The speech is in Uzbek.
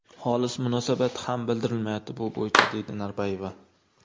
Xolis munosabat ham bildirilmayapti bu bo‘yicha”,deydi Norboyeva.